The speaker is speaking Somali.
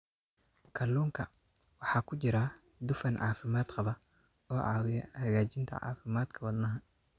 Kalluunka waxaa ku jira dufan caafimaad qaba oo caawiya hagaajinta caafimaadka wadnaha.